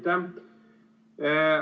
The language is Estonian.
Aitäh!